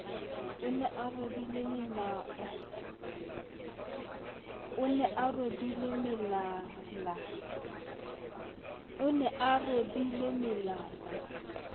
o ne a robile melala